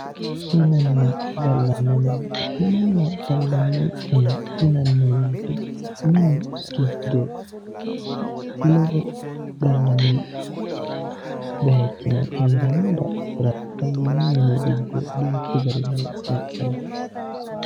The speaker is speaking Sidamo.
Minenna gallani mine, minenna gallani mine yinnanni woyte mini giddo noo gallanni bayichino heerano daafira gallani mini giddo duuchu garini e'ne fulanni